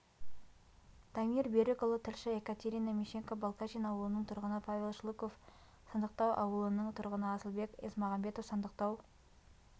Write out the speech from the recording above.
дамир берікұлы тілші екатерина мищенко балкашин ауылының тұрғыны павел шлыков сандықтау ауылының тұрғыны асылбек есмағамбетов сандықтау